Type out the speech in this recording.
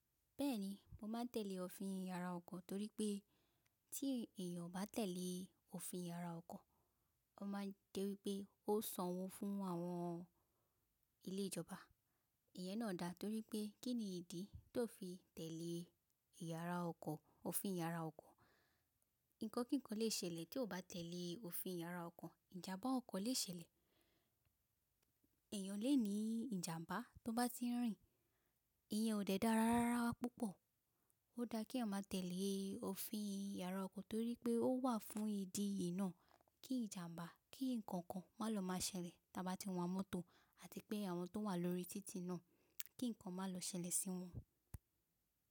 Bẹ́ẹ̀ni, mo máa tẹ̀lé òfin ìyara ọkọ̀ torí pé tí èèyàn o bá tẹ̀lé òfin ìyara ọkọ̀, ó máa je wipé ó sanwó fún àwọn ilé ìjọba. Ìyẹn náà dá torí pé kín ni ìdí tí ó fi tẹ̀lé ìyara ọkọ̀, òfin ìyara ọkọ̀? Ǹkan kíkan lè ṣẹlẹ̀ tí o ba tẹ̀lé òfin ìyara ọkọ̀. Ìjàmbá ọkọ̀ lè ṣẹlẹ̀, èèyàn lè ní ìjàmbá tó bá ti ń rìn. Ìyẹn ò dẹ dára rárá púpọ̀. Ó dá kí a máa tẹ̀lé òfin ìyara ọkọ̀ torí pé ó wà fún ìdí yìí náà kí ìjàmbá, kí ǹkan kan má lọ má ṣẹlẹ̀ tí a bá ti ń wa mọ́tò àti pé àwọn tó wà lórí títì náà kí ǹkan má lọ ṣẹlẹ̀ sí wọn.